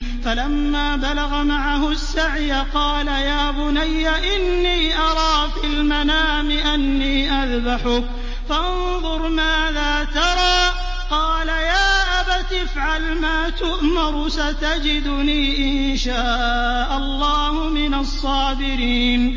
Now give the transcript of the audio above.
فَلَمَّا بَلَغَ مَعَهُ السَّعْيَ قَالَ يَا بُنَيَّ إِنِّي أَرَىٰ فِي الْمَنَامِ أَنِّي أَذْبَحُكَ فَانظُرْ مَاذَا تَرَىٰ ۚ قَالَ يَا أَبَتِ افْعَلْ مَا تُؤْمَرُ ۖ سَتَجِدُنِي إِن شَاءَ اللَّهُ مِنَ الصَّابِرِينَ